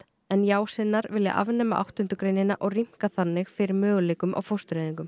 en já sinnar vilja afnema áttunda greinina og rýmka þannig fyrir möguleikum á fóstureyðingum